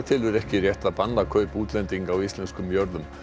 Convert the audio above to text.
telur ekki rétt að banna kaup útlendinga á íslenskum jörðum